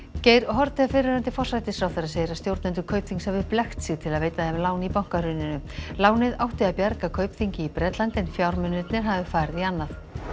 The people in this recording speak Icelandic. Geir Haarde fyrrverandi forsætisráðherra segir að stjórnendur Kaupþings hafi blekkt sig til að veita þeim lán í bankahruninu lánið átti að bjarga Kaupþingi í Bretlandi en fjármunirnir hafi farið í annað